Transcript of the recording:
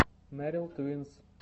меррел твинс